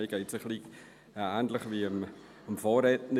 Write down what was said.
Es geht mir ein wenig ähnlich wie dem Vorredner.